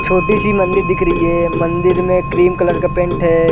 छोटी- सी मंदिर दिख रही है मंदिर में क्रीम कलर का पेंट हैं ।